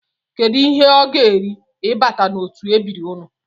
Kedụ ihe ọ ga-eri ịbata n'otu ebiri unu?